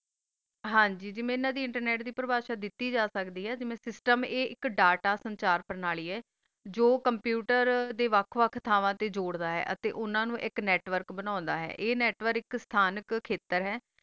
ਹਨ ਜੀ ਅਨਾ ਦੀ internet ਦੀ ਪਢ਼ਾ ਦਿਤੀ ਜਾ ਸਕਦੀ ਆ ਤਾ ਆ system data ਆ ਜੋ computer ਦਾ ਵਖ ਵਖ ਥਾਵਾ ਤਾ ਜ਼ੋਰਦਾ ਆ ਤਾ ਓਨਾ ਨੂ ਏਕ network ਆਯ network ਆ ਤਾ ਥਾਂ ਤਾ ਏਕ ਖਾਟਰ ਹ ਗਾ ਆ